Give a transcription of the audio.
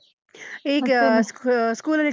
ಈಗ school ಅಲ್ಲಿ.